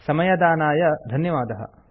समयदानाय धन्यवादः